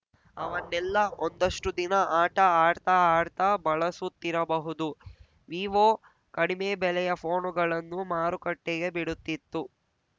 ಅವನ್ನೆಲ್ಲ ಒಂದಷ್ಟುದಿನ ಆಟ ಆಡ್ತಾ ಆಡ್ತಾ ಬಳಸುತ್ತಿರಬಹುದು ವಿವೋ ಕಡಿಮೆ ಬೆಲೆಯ ಪೋನುಗಳನ್ನು ಮಾರುಕಟ್ಟೆಗೆ ಬಿಡುತ್ತಿತ್ತು